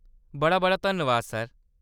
बड़ा-बड़ा धन्नबाद सर।